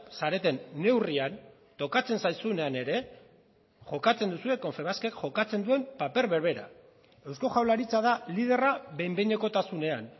zareten neurrian tokatzen zaizunean ere jokatzen duzue confebaskek jokatzen duen paper berbera eusko jaurlaritza da liderra behin behinekotasunean